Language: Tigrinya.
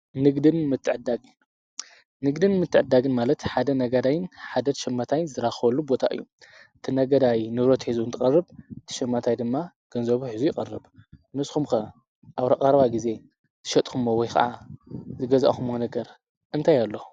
ንግድን ምትዕድዳግን፥- ንግድን ምትዕድዳግን ማለት ሓደ ነገዳይን ሓደ ሸማታይን ዝራኸብሉ ቦታ እዩ። እቲ ነጋዳይ ንብረት ሒዙ እንትቀርብ እቲ ሸማታይ ድማ ገንዘብ ሒዙ ይቐርብ። ንስኹምከ ኣብ ረቓርባ ጊዜ ዛሸመትኩምዎ ወይ ኸዓ ዝገዛእኹምዎ ነገር እንተይ ኣሎ።